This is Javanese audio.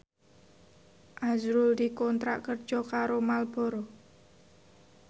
azrul dikontrak kerja karo Marlboro